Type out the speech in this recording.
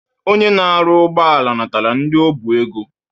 Onye na-arụ ụgbọala natara ndi o bu ego.